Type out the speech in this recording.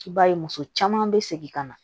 I b'a ye muso caman bɛ segin ka na